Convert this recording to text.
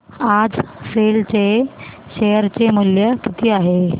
आज सेल चे शेअर चे मूल्य किती आहे